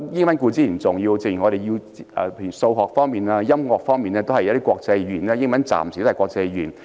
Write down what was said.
英語固然重要，正如在數學、音樂方面，目前仍然以英語作為國際語言。